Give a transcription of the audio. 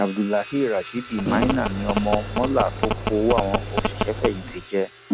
abdulahirasheed maina ni ó ọmọ mọla tó kó owó àwọn òṣìṣẹfẹyìntì jẹ